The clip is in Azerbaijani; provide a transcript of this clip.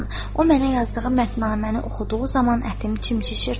O mənə yazdığı məthnaməni oxuduğu zaman ətim çimçişirdi.